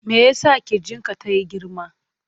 Me ya sa ƙirjin ka tayi girma?